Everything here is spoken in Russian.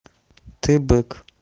ты бык